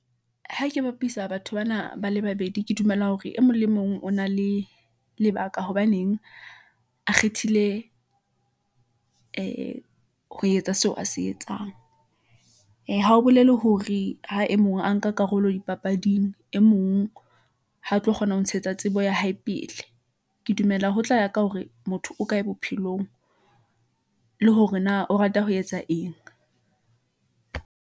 Ha ke bapisa batho bana ba le babedi, ke dumela hore e mong le mong o na le lebaka hobaneng a kgethile ee , ho etsa seo a se etsang . Ee ha ho bolele hore ha e mong a nka karolo dipapading , e mong ha tlo kgona ho ntshetsa tsebo ya hae pele . Ke dumela ho tla ya ka hore, motho o kae bophelong le hore na o rata ho etsa eng.